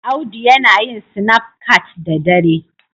Audu yana yin sinaf cat da dare.